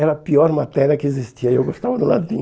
Era a pior matéria que existia e eu gostava do latim.